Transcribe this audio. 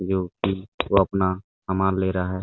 जो की जो अपना सामान ले रहा है।